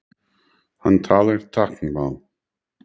Hann talar táknmál.